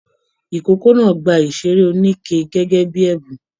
Ikòkò náà gbà iṣere oníke gẹgẹ bíi ẹbùn.